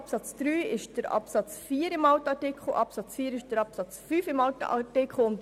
Absatz 3 entspricht Absatz 4 im alten Artikel und Absatz 4 dem Absatz 5 im alten Artikel.